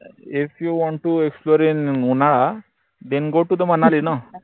ifyouwanttoexplorein उन्हाळा then go to the Manali न